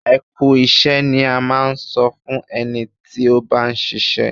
Ẹ kú iṣẹ́ ni a máa ń sọ fún ẹni tí ó bá ń ṣiṣẹ́.